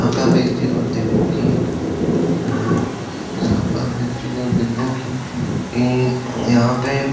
यहाँ पे आप एक चीज मत देखो कि अअअ यहाँ पे आप एक चीज मत देखो कि हम्म्म यहाँ पे --